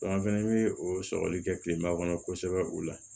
an fɛnɛ bɛ o sɔgɔli kɛ kilema kɔnɔ kosɛbɛ o la